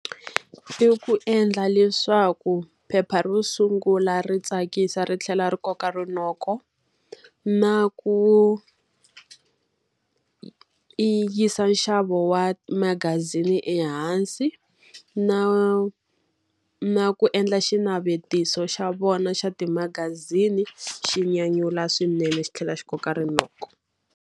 I ku endla leswaku phepha ro sungula ri tsakisa ri tlhela ri koka rinoko. Na ku yisa nxavo wa magazini ehansi, na na ku endla xinavetiso xa vona xa timagazini xi nyanyula swinene xi tlhela xi koka rinoko.